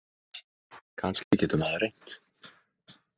Kannski getur maður reynt.